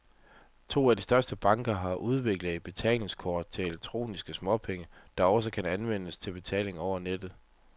To af de største banker har udviklet et betalingskort til elektroniske småpenge, der også skal kunne anvendes til betaling over nettet.